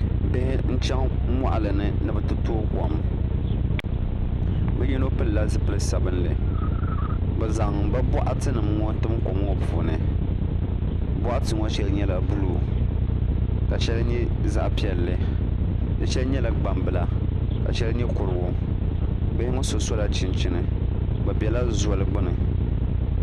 Bihi n chɛŋ moɣali ni ni bi ti tooi kom bi yino pilila zipili sabinli bi zaŋ bi boɣati nim ŋo tim kom ŋo puuni boɣati ŋo shɛli nyɛla buluu ka shɛli nyɛ zaɣ piɛlli di shɛli nyɛla gbambila ka shɛli nyɛ kurigu bihi ŋo so sola chinchini bi biɛla zoli gbuni